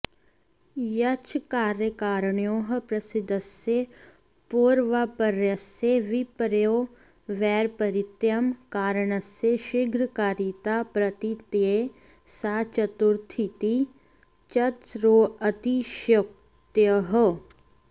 यश्च कार्यकारणयोः प्रसिद्धस्य पौर्वापर्यस्य विपर्ययोर्वैपरीत्यं कारणस्य शीघ्रकारिता प्रतीतये सा चतुर्थीति चतस्रोऽतिशयोक्तयः